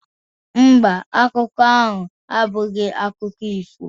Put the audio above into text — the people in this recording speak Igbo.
Mba, akụkọ ahụ abụghị akụkọ ifo